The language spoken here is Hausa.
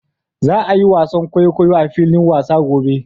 Za a yi wasan kwaikwayo a filin wasa gobe